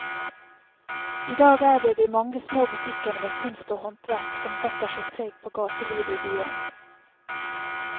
I dag er det de mange små butikkene med kunst og håndverk som setter sitt preg på gatelivet i byen.